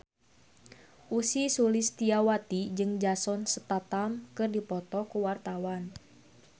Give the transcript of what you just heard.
Ussy Sulistyawati jeung Jason Statham keur dipoto ku wartawan